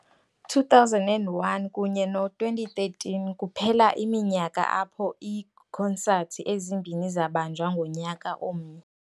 2001 kunye no-2013 kuphela iminyaka apho iikonsathi ezimbini zabanjwa ngonyaka omnye.